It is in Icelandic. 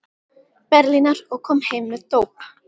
Berlínar, og kom heim með dóp.